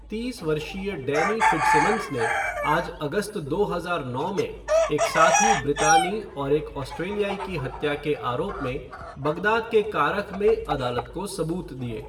तीस वर्षीय Danny Fitzsimmons ने आज अगस्त दो हजार नौ में एक साथी ब्रितानी और एक ऑस्ट्रेलियाई की हत्या के आरोप में बगदाद के कारख में अदालत को सबूत दिए।